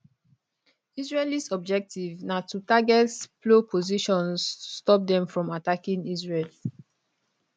israelis objective na to target plo positions to stop dem from attacking israel